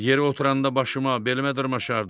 Yerə oturanda başıma, belimə dırmaşardı.